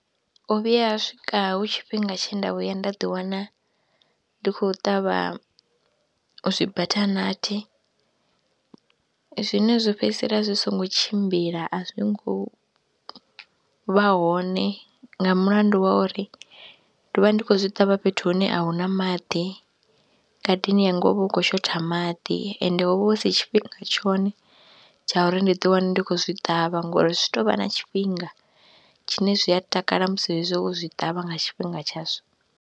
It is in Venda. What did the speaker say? U vhuya ha swika hu tshifhinga tshe nda vhuya nda ḓiwana ndi khou ṱavha zwibathanathi zwine zwa fhedzisela zwi songo tshimbila, a zwi ngo vha hone nga mulandu wa uri ndo vha ndi khou zwi ṱavha fhethu hune a hu na maḓi, ngadeni yanga ho vha hu khou shotha maḓi ende ho vha hu si tshifhinga tshone tsha uri ndi ḓiwane ndi khou zwi ṱavha ngori zwi tou vha na tshifhinga tshine zwi a takala musi hezwi wo zwi ṱavha nga tshifhinga tshazwo.